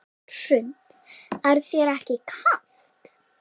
Hrund: Er þér ekki kalt?